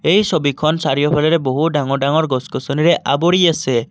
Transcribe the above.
এই ছবিখন চাৰিওফালেৰে বহু ডাঙৰ ডাঙৰ গছ গছনিৰে আৱৰি আছে।